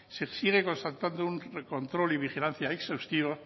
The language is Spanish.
se sigue constatando un control y vigilancia exhaustiva